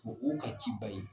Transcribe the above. O ka ci ba ye